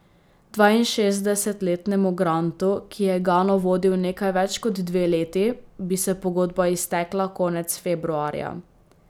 Dvainšestdesetletnemu Grantu, ki je Gano vodil nekaj več kot dve leti, bi se pogodba iztekla konec februarja.